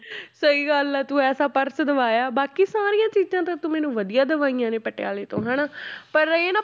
ਸਹੀ ਗੱਲ ਹੈ ਤੂੰ ਐਸਾ ਪਰਸ ਦਿਵਾਇਆ ਬਾਕੀ ਸਾਰੀਆਂ ਚੀਜ਼ਾਂਂ ਤਾਂ ਤੂੰ ਮੈਨੂੰ ਵਧੀਆ ਦਿਵਾਈਆਂ ਨੇ ਪਟਿਆਲੇ ਤੋਂ ਹਨਾ ਪਰ ਇਹ ਨਾ